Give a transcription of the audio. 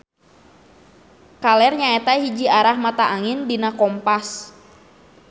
Kaler nyaeta hiji arah mata angin dina kompas.